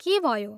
के भयो?